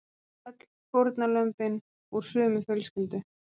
Öll fórnarlömbin úr sömu fjölskyldu